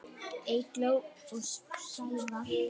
Eygló og Sævar.